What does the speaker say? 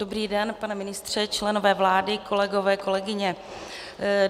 Dobrý den, pane ministře, členové vlády, kolegové, kolegyně.